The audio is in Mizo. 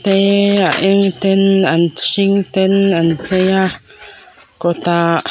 eeee a eng ten an hring ten an chei a kawtah.